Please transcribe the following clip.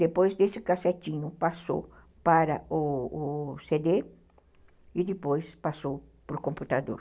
Depois desse cassetinho, passou para o o cê dê e depois passou para o computador.